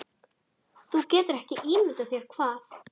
Þú getur ekki ímyndað þér hvað